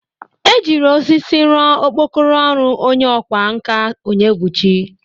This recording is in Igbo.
E jiri osisi rọ okpokoro ọrụ onye ọkwa nka Onyebụchi.